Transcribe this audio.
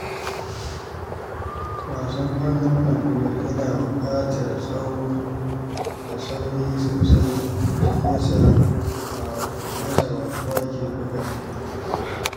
Wasan ƙwallon kwando yana buƙatar tsawo da saurin motsi, shi yasa ba kowa ke buga shi ba.